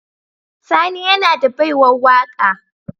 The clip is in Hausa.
Sani yAna da baiwar waka